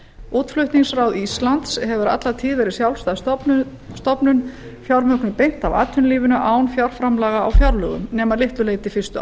útflutningsráð íslands hefur alla tíð verið sjálfstæð stofnun fjármögnuð beint af atvinnulífinu án fjárframlaga á fjárlögum nema að litlu leyti fyrstu